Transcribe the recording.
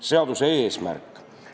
Seaduse eesmärk.